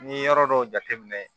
N'i ye yɔrɔ dɔw jateminɛ